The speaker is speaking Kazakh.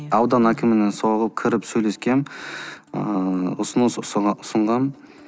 аудан әкіміне соғып кіріп сөйлескем ыыы ұсыныс ұсынғам